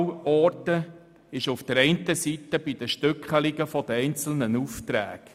Sparpotenzial orten wir einerseits bei den Stückelungen der einzelnen Aufträge.